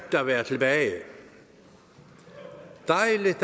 at være tilbage dejligt at